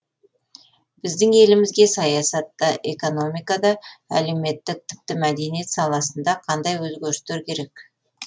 біздің елімізге саясатта экономикада әлеуметтік тіпті мәдениет саласында қандай өзгерістер керек